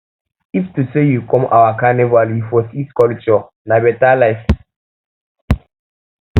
if to sey you come our carnival you for see sey culture um na beta tin